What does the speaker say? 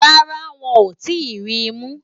Rárá o, wọ́n ò tí ì ri mú